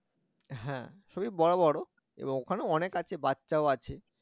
হ্যাঁ সবই বড় বড় এবং ওখানে অনেক আছে বাচ্চা ও আছে